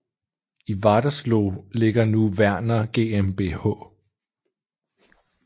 I Wadersloh ligger nu Werner GmbH